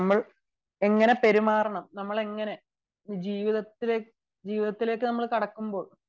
നമ്മൾ പെരുമാറണം നമ്മൾ ജീവിതത്തിലേക്ക് നമ്മൾ കടക്കുമ്പോൾ